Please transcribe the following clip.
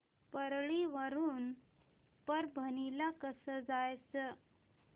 परळी वरून परभणी ला कसं जायचं